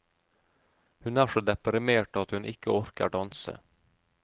Hun er så deprimert at hun ikke orker danse.